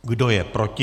Kdo je proti?